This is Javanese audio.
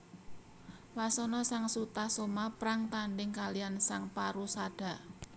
Wasana sang Sutasoma prang tandhing kaliyan sang Porusada